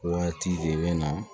Waati de bɛ na